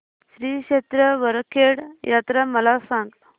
श्री क्षेत्र वरखेड यात्रा मला सांग